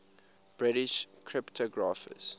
british cryptographers